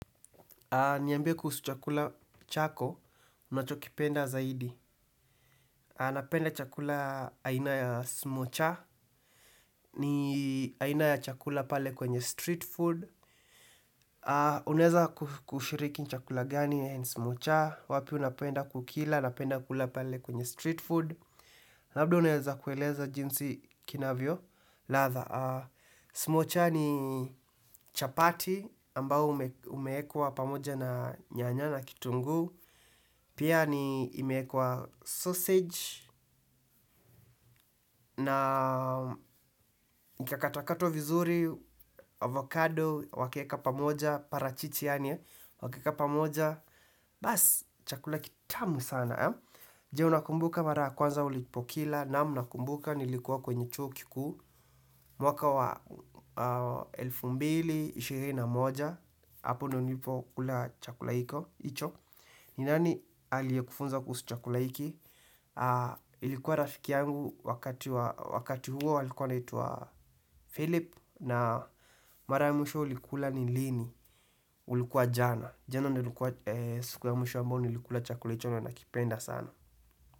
Niambie kuhusu chakula chako, unachokipenda zaidi. Aa napenda chakula aina ya smocha, ni aina ya chakula pale kwenye street food. Unaeza kushiriki chakula gani ya smocha, wapi unapenda kukila, napenda kula pale kwenye street food. Labdo unaeza kueleza jinsi kinavyo, ladha. Smocha ni chapati ambayo umeekwa pamoja na nyanya na kitungu. Pia ni imeekwa sausage na ikakatakatwa vizuri, avocado, wakaeka pamoja, parachichi yaani e, wakaeka pamoja. Bas, chakula kitamu sana. Je unakumbuka mara ya kwanza ulipokila naam nakumbuka nilikuwa kwenye chuo kikuu. Mwaka wa elfu mbili na ishirini na moja, hapo ndio nilipokula chakula hicho. Ni nani aliye kufunza kuhusu chakula hiki. Ilikuwa rafiki yangu wakati huo alikuwa anaitwa Philip Na mara ya mwisho ulikula ni lini. Ilikuwa jana. Jano ndio ilikuwa siku ya mwisho ambayo nilikula chakula hicho na nakipenda sana.